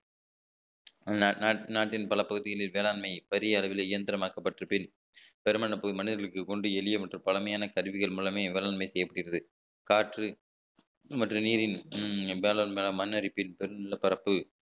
நா~ நா~ நாட்டின் பல பகுதிகளில் வேளாண்மை பெரிய அளவிலே இயந்திரமாக்கப்பட்ட பின் பெருமையான புது மனிதர்களுக்கு கொண்டு எளிய மற்றும் பழமையான கருவிகள் மூலமே வேளாண்மை செய்யப்படுகிறது காற்று மற்றும் நீரின் உம் வேளாண் மேல மண் அரிப்பில் உள்ள பரப்பு